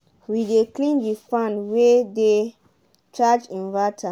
we dey clean de fan way dey charge inverter